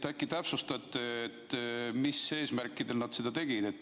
Äkki täpsustate, mis eesmärkidel nad seda tegid.